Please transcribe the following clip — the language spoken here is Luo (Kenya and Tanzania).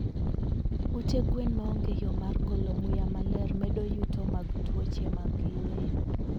Ute gwen maonge yo mar golo muya maler medo yuto mag tuoche mag yweyo